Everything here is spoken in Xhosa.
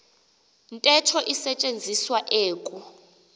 ntetho isetyenziswa eku